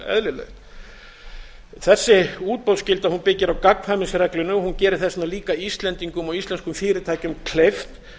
tel fullkomlega eðlilegt þessi útboðsskylda byggir á gagnkvæmnisreglunni hún gerir þess vegna líka íslendingum og íslenskum fyrirtækjum kleift